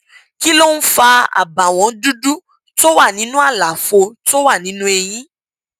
kí ló ń fa àbàwọn dúdú tó wà nínú àlàfo tó wà nínú eyín